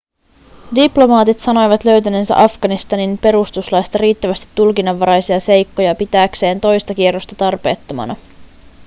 diplomaatit sanoivat löytäneensä afganistanin perustuslaista riittävästi tulkinnanvaraisia seikkoja pitääkseen toista kierrosta tarpeettomana